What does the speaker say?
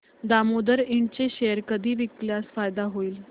दामोदर इंड चे शेअर कधी विकल्यास फायदा होईल